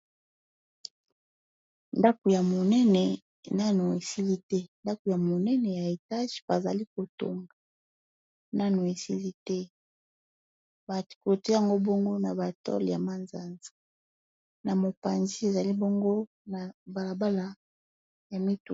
Ndaku ya munene Nanu esili te ndaku ya munene ya étage bazali kotonga Nanu esili te ba clôture Yango bongo n'a ba tôle ya manzanza